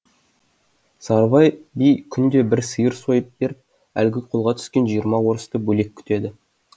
сарыбай би күнде бір сиыр сойып беріп әлгі қолға түскен жиырма орысты бөлек күтеді